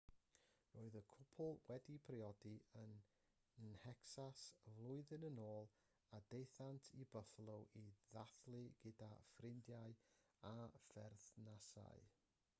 roedd y cwpl wedi priodi yn nhecsas flwyddyn yn ôl a daethant i buffalo i ddathlu gyda ffrindiau a pherthnasau